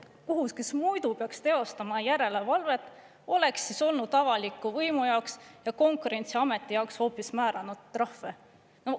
Kohus, kes muidu peaks teostama järelevalvet, oleks siis olnud avaliku võimu jaoks ja Konkurentsiameti jaoks hoopis määranud trahve.